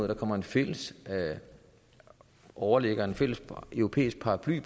der kommer en fælles overlægger en fælles europæisk paraply